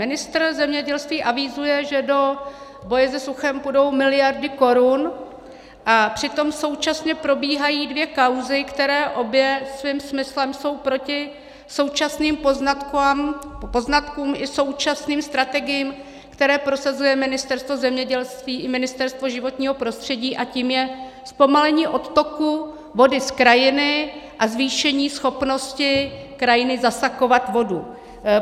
Ministr zemědělství avizuje, že do boje se suchem půjdou miliardy korun, a přitom současně probíhají dvě kauzy, které obě svým smyslem jsou proti současným poznatkům i současným strategiím, které prosazuje Ministerstvo zemědělství i Ministerstvo životního prostředí, a tím je zpomalení odtoku vody z krajiny a zvýšení schopnosti krajiny zasakovat vodu.